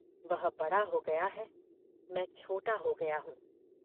वह बड़ा हो गया है मैं छोटा हो गया हूँ।